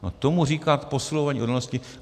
No tomu říkat posilování odolnosti?